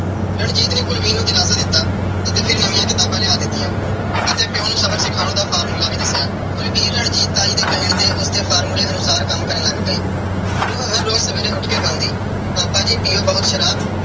ਰਣਜੀਤ ਨੇ ਕੁਲਵੀਰ ਨੂੰ ਦਿਲਾਸਾ ਦਿੱਤਾ ਅਤੇ ਫਿਰ ਨਵੀਆਂ ਕਿਤਾਬਾਂ ਲਿਆ ਦਿੱਤੀਆਂਂ ਅਤੇ ਪਿਉ ਨੂੰ ਸਬਕ ਸਿਖਾਉਣ ਦਾ formula ਵੀ ਦੱਸਿਆ। ਕੁਲਵੀਰ ਰਣਜੀਤ ਤਾਈ ਦੇ ਕਹੇ ਤੇ ਉਸ ਦੇ formula ਅਨੁਸਾਰ ਕੰਮ ਕਰਨ ਲੱਗ ਪਈ। ਉਹ ਹਰ ਰੋਜ਼ ਸਵੇਰੇ ਉੱਠ ਕੇ ਗਾਉਂਦੀ - ਪਾਪਾ ਜੀ ਪੀਓ ਬਹੁਤ ਸ਼ਰਾਬ।